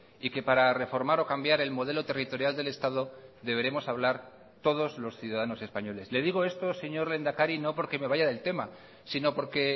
y que para reformar o cambiar el modelo territorial del estado deberemos hablar todos los ciudadanos españoles le digo esto señor lehendakari no porque me vaya del tema sino porque